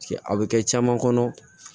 A bɛ kɛ caman kɔnɔ